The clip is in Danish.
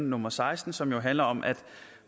nummer seksten som jo handler om at